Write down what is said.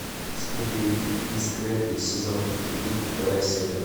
скуби и скрэппи сезон три вторая серия